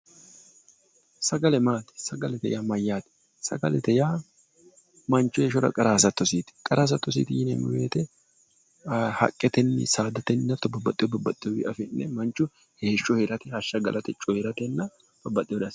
Sagale maati, sagalete yaa mayyaate, sagalete manchu heeshshora qara hasattosiiti. hasattosiiti yineemmo woyiite haqqetenni saadatenni hatto babbaxewo afi'ne manchu heeshsho heerate, hashsha galate babaxewoore assa.